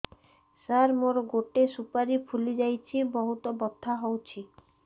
ସାର ମୋର ଗୋଟେ ସୁପାରୀ ଫୁଲିଯାଇଛି ବହୁତ ବଥା ହଉଛି